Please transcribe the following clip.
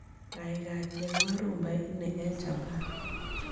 Gaigai cheng'won rhumba ini eng' Japan